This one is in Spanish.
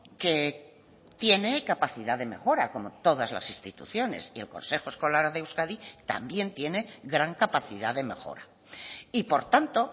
que tiene capacidad de mejora como todas las instituciones y el consejo escolar de euskadi también tiene gran capacidad de mejora y por tanto